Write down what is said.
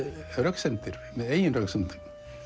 röksemdir með eigin röksemdum